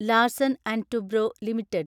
Larsen and Toubro limited